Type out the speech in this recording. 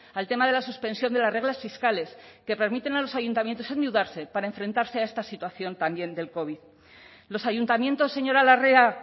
al tema de la suspensión de las reglas fiscales que permiten a los ayuntamientos endeudarse para enfrentarse a esta situación también del covid los ayuntamientos señora larrea